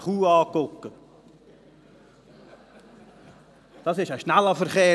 Das ist nämlich ein schneller Verkehr.